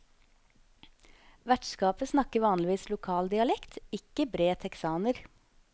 Vertskapet snakker vanligvis lokal dialekt, ikke bred texaner.